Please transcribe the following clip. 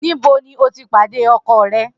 Nibo ni o ti pade ọkọ rẹ?